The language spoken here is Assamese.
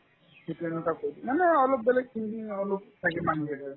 সিহঁতে এনেকা কই মানে অলপ বেলেগ thinking অলপ থাকে মানুহ কেইটাৰ